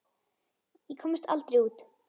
Ég komst aldrei út.